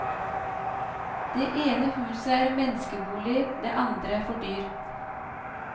Det ene huset er menneskebolig, det andre for dyr.